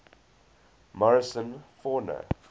morrison fauna